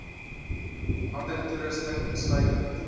ander toerusting insluitend